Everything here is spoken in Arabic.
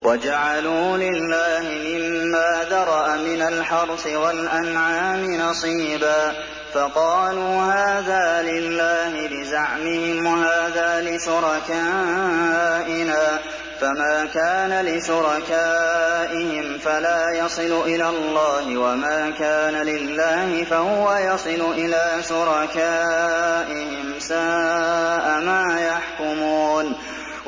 وَجَعَلُوا لِلَّهِ مِمَّا ذَرَأَ مِنَ الْحَرْثِ وَالْأَنْعَامِ نَصِيبًا فَقَالُوا هَٰذَا لِلَّهِ بِزَعْمِهِمْ وَهَٰذَا لِشُرَكَائِنَا ۖ فَمَا كَانَ لِشُرَكَائِهِمْ فَلَا يَصِلُ إِلَى اللَّهِ ۖ وَمَا كَانَ لِلَّهِ فَهُوَ يَصِلُ إِلَىٰ شُرَكَائِهِمْ ۗ سَاءَ مَا يَحْكُمُونَ